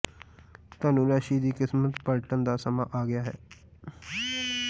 ਧਨੁ ਰਾਸ਼ੀ ਦੀ ਕਿਸਮਤ ਪਲਟਣ ਦਾ ਸਮਾਂ ਆ ਗਿਆ ਹੈ